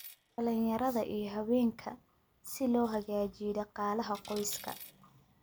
dhalinyarada iyo haweenka, si loo hagaajiyo dhaqaalaha qoyska.